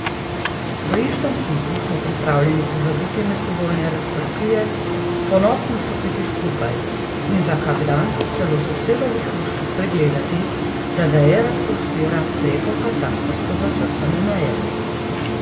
V istem hipu smo pripravljeni pozabiti medsebojne razprtije, ponosno stopiti skupaj in za kak dan celo sosedovi hruški spregledati, da veje razprostira preko katastrsko začrtane meje.